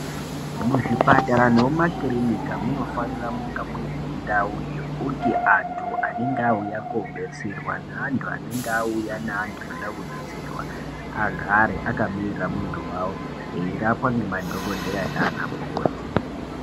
Muzvipatara nemumakirinika munofanira kunge mune ndau yekuti antu anenge auya kobetserwa naantu anenge auya naantu anoda kubetserwa agare akamirira muntu wawo, eyirapwa nemadhokodheya nanamukoti.